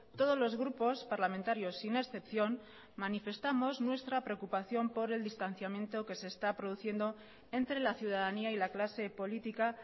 todos los grupos parlamentarios sin excepción manifestamos nuestra preocupación por el distanciamiento que se está produciendo entre la ciudadanía y la clase política